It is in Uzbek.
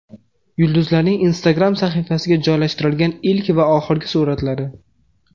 Yulduzlarning Instagram sahifasiga joylashtirgan ilk va oxirgi suratlari .